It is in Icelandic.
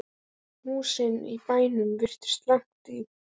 Húsin í bænum virtust langt í burtu.